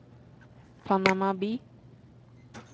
Panama by